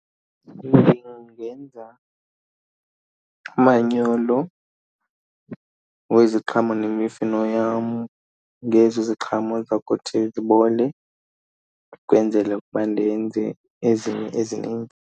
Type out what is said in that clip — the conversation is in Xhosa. Ndingenza umanyolo weziqhamo nemifino yam ngezi ziqhamo ziza kuthi zibole ukwenzele ukuba ndenze ezinye ezininzi.